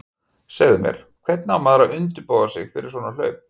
Segðu mér, hvernig á maður að undirbúa sig fyrir svona hlaup?